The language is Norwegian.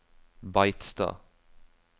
Beitstad